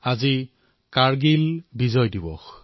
আজি কাৰ্গিল বিজয় দিৱস